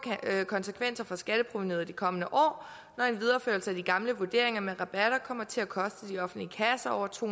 konsekvenser for skatteprovenuet i de kommende år når en videreførelse af de gamle vurderinger med rabatter kommer til at koste de offentlige kasser over to